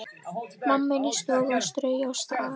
Mamma inni í stofu að strauja og staga.